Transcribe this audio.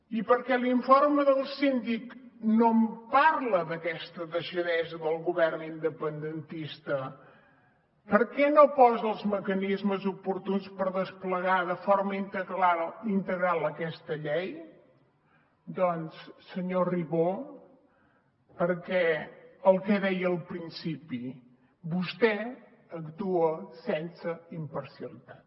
i per què l’informe del síndic no parla d’aquesta deixadesa del govern independentista per què no posa els mecanismes oportuns per desplegar de forma integral aquesta llei doncs senyor ribó perquè el que deia al principi vostè actua sense imparcialitat